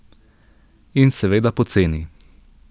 In seveda poceni.